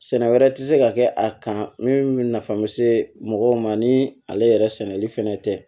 Sɛnɛ wɛrɛ tɛ se ka kɛ a kan min bɛ nafa mun se mɔgɔw ma ni ale yɛrɛ sɛnɛli fɛnɛ tɛ